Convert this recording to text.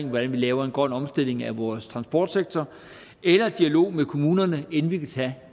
hvordan vi laver en grøn omstilling af vores transportsektor eller dialog med kommunerne inden vi kan tage